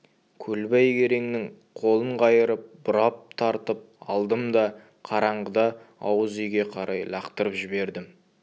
көлбай кереңнің қолын қайырып бұрап тартып алдым да қараңғыда ауыз үйге қарай лақтырып жібердім